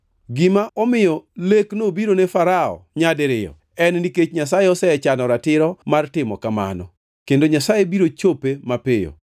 Gima omiyo lek nobiro ne Farao nyadiriyo en nikech Nyasaye osechano ratiro mar timo kamano. Kendo Nyasaye biro chope mapiyo.